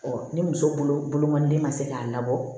ni muso bolo den ma se k'a labɔ